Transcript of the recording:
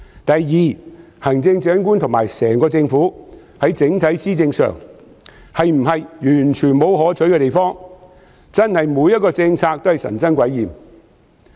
第二，行政長官和整個政府在整體施政上是否完全沒有可取之處，真的每項政策都神憎鬼厭嗎？